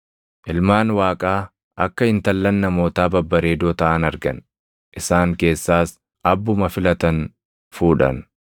Ilmaan Waaqaa akka intallan namootaa babbareedoo taʼan argan; isaan keessaas abbuma filatan fuudhan.